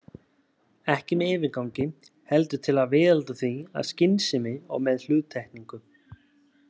Ekki með yfirgangi, heldur til að viðhalda því af skynsemi og með hluttekningu.